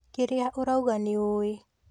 Kĩria ũrauga nĩũĩ